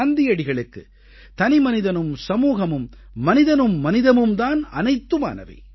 காந்தியடிகளுக்கு தனிமனிதனும் சமூகமும் மனிதனும் மனிதமும் தான் அனைத்துமானவை